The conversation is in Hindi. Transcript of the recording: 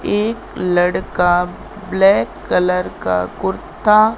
एक लड़का ब्लैक कलर का कुर्ता--